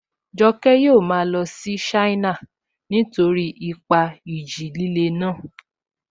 Joke yóò máa lọ sí China nítorí ipa ìjì líle náà